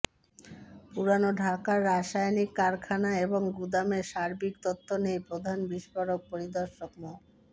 পুরান ঢাকার রাসায়নিক কারখানা এবং গুদামের সার্বিক তথ্য নেই প্রধান বিস্ফোরক পরিদর্শক মো